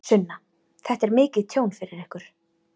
Sunna: Þetta er mikið tjón fyrir ykkur?